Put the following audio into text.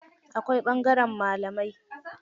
Akwai ɓangaren malamai.